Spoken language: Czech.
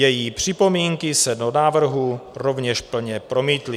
Její připomínky se do návrhu rovněž plně promítly.